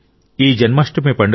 ఈ జన్మాష్టమి పండుగ